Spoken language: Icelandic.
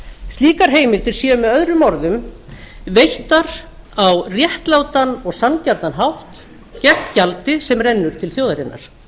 slíkar heimildir séu möo veittar á réttlátan og sanngjarnan hátt gegn gjaldi sem rennur til þjóðarinnar